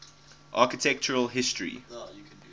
architectural history